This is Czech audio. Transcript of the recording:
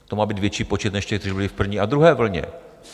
To má být větší počet než těch, kteří byli v první a druhé vlně.